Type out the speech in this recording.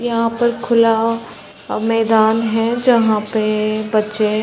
यहाँ पर खुला अ मैदान है जहाँ पे बच्चे --